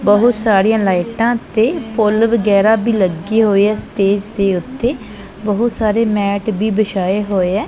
ਬਹੁਤ ਸਾਰੀਆਂ ਲਾਈਟਾਂ ਤੇ ਫੁੱਲ ਵਗੈਰਾ ਵੀ ਲੱਗੇ ਹੋਏ ਆ ਸਟੇਜ ਦੇ ਉੱਤੇ ਬਹੁਤ ਸਾਰੇ ਮੈਟ ਵੀ ਵਿਛਾਏ ਹੋਏ ਐ।